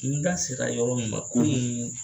N da sera yɔrɔ min ma kunun